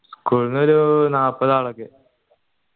school ന്നൊരു നാല്പതാൾ